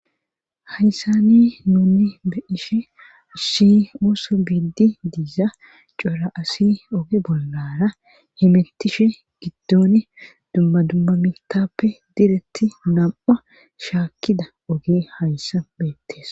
Hayssani nuni be ishe si ooso biidi diiza cora asi oge bollara hemettishe giddoni dummadummamitappe diretti nam'a shaakkida oge hayssa beettes